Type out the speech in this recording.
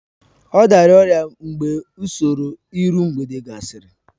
Ọ dara ọrịa mgbe usoro iru mgbede gasịrị